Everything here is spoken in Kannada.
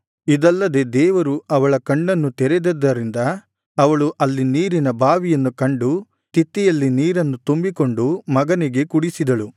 ಇದಲ್ಲದೆ ದೇವರು ಅವಳ ಕಣ್ಣನ್ನು ತೆರೆದಿದ್ದರಿಂದ ಅವಳು ಅಲ್ಲಿ ನೀರಿನ ಬಾವಿಯನ್ನು ಕಂಡು ತಿತ್ತಿಯಲ್ಲಿ ನೀರನ್ನು ತುಂಬಿಕೊಂಡು ಮಗನಿಗೆ ಕುಡಿಸಿದಳು